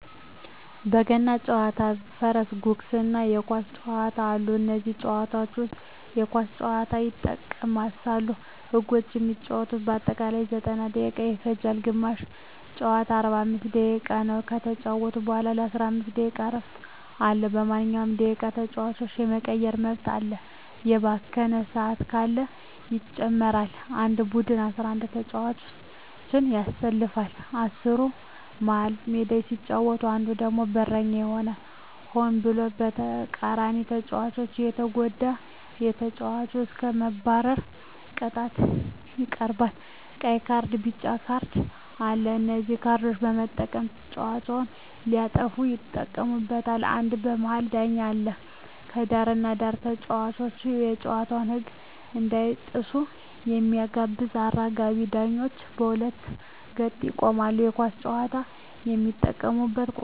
በገና ጨዋታ በፈረስ ጉግስ እና የኳስ ጨዋታ አሉ ከነዚህም ጨዋታዎች ዉስጥ የኳስ ጨዋታ ይጠቀሳል ህጎችም የሚጫወቱበት በአጠቃላይ 90ደቂቃ ይፈጃል ግማሽ ጨዋታ 45 ደቂቃ ነዉ ከተጫወቱ በኋላ የ15 ደቂቃ እረፍት አለዉ በማንኛዉም ደቂቃ ተጫዋች የመቀየር መብት አለ የባከነ ሰአት ካለ ይጨመራል አንድ ቡድን 11ተጫዋቾችን ያሰልፋል አስሩ መሀል ሜዳ ሲጫወት አንዱ ደግሞ በረኛ ይባላል ሆን ብሎ የተቃራኒተጫዋቾችን ከተጎዳ ከጨዋታዉ እስከ መባረር ቅጣት ይቀጣሉ ቀይ ካርድና ቢጫ ካርድ አሉ በነዚህ ካርዶች በመጠቀም ተጫዋቾች ሲያጠፉ ይቀጡበታል አንድ የመሀል ዳኛ አለ በዳርና በዳር ተጫዋቾች የጨዋታዉን ህግ እንዳይጥሱ የሚጠብቁ አራጋቢ ዳኞች በሁለት ገጥ ይቆማሉ የኳስ ጫዋች የሚጠቀሙበት ቁሳቁሶች ኳስ፣ ሰፊሜዳ፣ ማልያ፣ ታኬታ ጫማ እነዚህን በመጠቀም መጫወት ይቻላል